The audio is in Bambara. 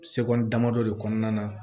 Seko ni damadɔ de kɔnɔna na